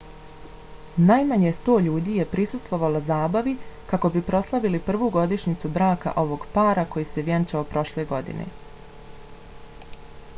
najmanje 100 ljudi je prisustvovalo zabavi kako bi proslavili prvu godišnjicu braka ovog para koji se vjenčao prošle godine